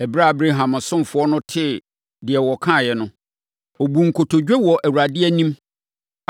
Ɛberɛ a Abraham ɔsomfoɔ no tee deɛ wɔkaeɛ no, ɔbuu nkotodwe wɔ Awurade anim.